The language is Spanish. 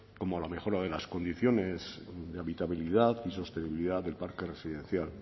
como a la mejora de las condiciones de habitabilidad y sostenibilidad del parque residencial